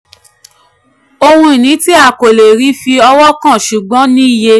ohun ìní tí a kò lè rí fi ọwọ́ kàn ṣùgbọ́n ní iye.